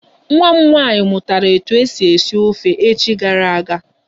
Nwa m nwaanyị mụtara etu esi esi ofe echi gara aga.